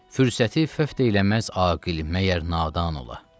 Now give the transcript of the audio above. Fürsəti föt eləməz Aqil məgər nadan ola.